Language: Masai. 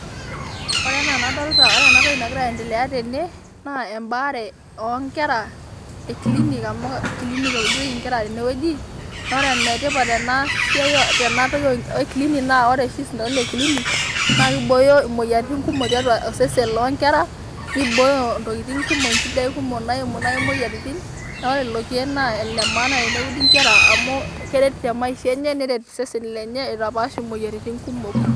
Ore enaa onadolita ore ena tok nagira aendelea tene naa ebaare oo nkera ekilinik amu kilinik euditoe enkera tene wueji naa ore ene tipat ena siai tena toki oo nkera naa ore oshi isintanonii le kilinik naa keibooyo emoyiaritin kumok tiatua osesen loo nkera, nibooyo Intokitin kumok, enchidai kumok naiimu naii imoyiaritin neeku ore lelo kiek naa elemaana ene udi ingera amu keret teMaisha enye neret sii eseseni lenye aitapaash imoyiaritin kumok.